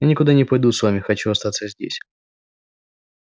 я никуда не пойду с вами хочу остаться здесь